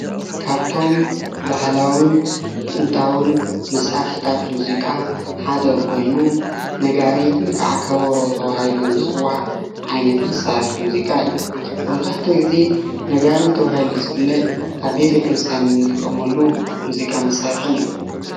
ካብቶም ባህላዊን ጥንታዊን መሳርሒታት ሙዚቃ ሓደ ኮይኑ ነጋሪት ወይ ከዓ ከበሮ ተባሂሉ ዝፅዋዕ ዓይነት መሳርሒ ሙዚቃ እዩ፡፡ መብዛሕትኡ ግዜ ነጋሪት ተባሂሉ ዝፍለጥ ኣብ ቤተ ክርስትያን እንጥቀመሉ ሙዚቃ መሳርሒ እዩ፡፡